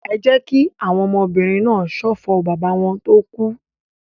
Ẹ jẹ́ kí àwọn ọmọbìnrin náà ṣọ̀fọ̀ bàbá wọn tó kú!